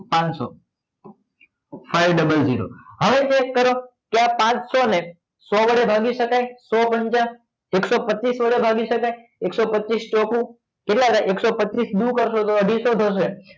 પાનસો five double zero zero હવે test કરો કે આ પાનસો વડે ભાગી શકાય સો પંચા એકસો પચીસ વડે ભાગી શકાય એકસો પચીસ ચોકું કેટલા થઈ એકસો પચીસ થાય કેટલા થાય એકસો પચીસ દૂ કરશો તો અઢીસો થશે